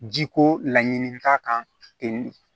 Ji ko laɲini k'a kan